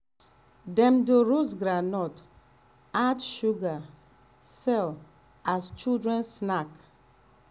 dem dey roast groundnut add sugar sell as children snack.